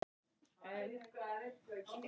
Í uppnámi og angist.